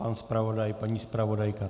Pan zpravodaj, paní zpravodajka?